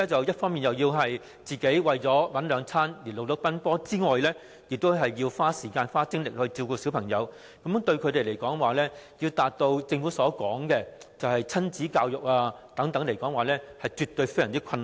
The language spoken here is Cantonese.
一方面，他們要為生活奔波；另一方面，又要花時間和精力照顧小朋友，如果要他們達致政府鼓勵的親子教育，實在非常困難。